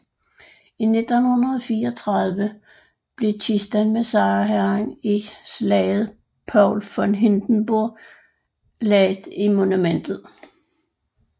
I 1934 blev kisten med sejrherren i slaget Paul von Hindenburg anbragt i monumentet